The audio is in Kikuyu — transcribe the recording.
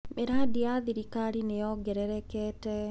Mĩrandi ya thirikari nĩ yongererekete.